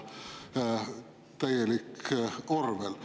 Täielik Orwell!